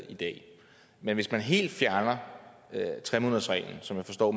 i dag men hvis man helt fjerner tre månedersreglen som jeg forstår